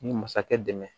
Ni masakɛ dɛmɛ